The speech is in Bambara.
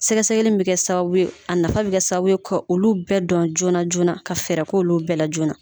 Sɛgɛsɛgɛli bɛ kɛ sababu ye a nafa bɛ kɛ sababu ka olu bɛɛ dɔn joona joona ka fɛɛrɛ k'olu bɛɛ la joona